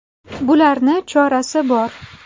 Bularni chorasi bor.